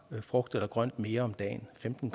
frugt eller grønt mere om dagen femten